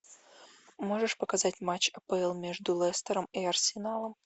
можешь показать матч апл между лестером и арсеналом